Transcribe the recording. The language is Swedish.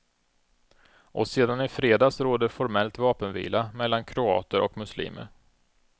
Och sedan i fredags råder formellt vapenvila mellan kroater och muslimer.